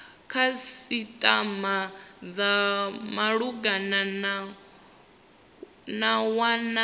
khasitama dza malugana na wana